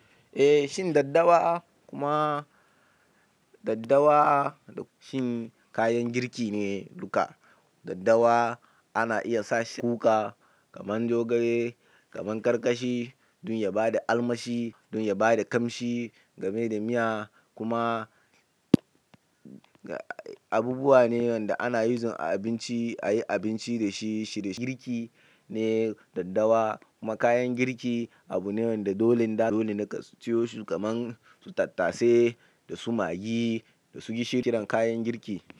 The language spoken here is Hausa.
Eh, shin daddawa kuma daddawa da shin kayan girki ne duka. Daddawa ana iya sa shi a kuka kaman zogale, kaman ƙarƙashi don ya bada armashi, don ya bada ƙamshi game da miya kuma abubuwa ne wanda ana using a abinci, a yi abinci da shi. Ci da girki ne daddawa kuma kayan girki abu ne wanda dolen dole ne ka siyo su kaman su tattase da su maggi da su gishiri. Kayan girki.